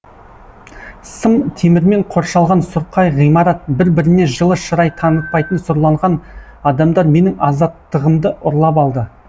сым темірмен қоршалған сұрқай ғимарат бір біріне жылы шырай танытпайтын сұрланған адамдар менің азаттығымды ұрлап алды